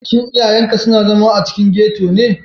Shin iyayenka suna zama a cikin ghetto ne?